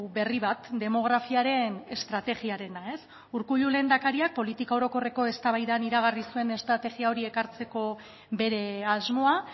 berri bat demografiaren estrategiarena urkullu lehendakariak politika orokorreko eztabaidan iragarri zuen estrategia hori ekartzeko bere asmoa